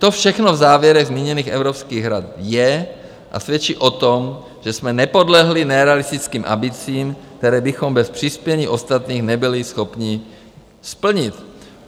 To všechno v závěrech zmíněných evropských rad je a svědčí o tom, že jsme nepodlehli nerealistickým ambicím, které bychom bez přispění ostatních nebyli schopni splnit.